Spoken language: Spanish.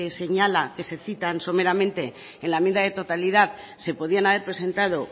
se señalan que se citan someramente en la enmienda de totalidad se podían haber presentado